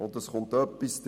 Folgendes kommt hinzu: